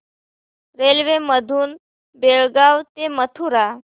railway मधून बेळगाव ते मथुरा